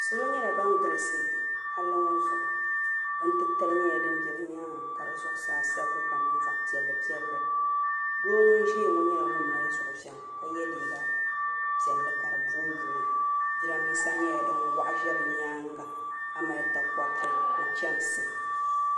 Salo nyɛla ban galisi palli ŋɔ zuɣu bin' titali nyɛla din be bɛ nyaaŋa ka di zuɣusaa sabigi ka niŋ zaɣ' piɛllipiɛlli doo ŋun ʒiya ŋɔ nyɛla ŋun mali zuɣuviŋ ka ye liiga piɛlli ka di boobooi jirambisa nyɛla din waɣa za bɛ nyaaŋa ka mali takɔriti ni chamsi